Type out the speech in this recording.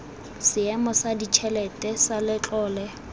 seemo sa ditšhelete sa letlole